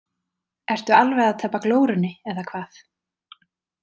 Ertu alveg að tapa glórunni eða hvað!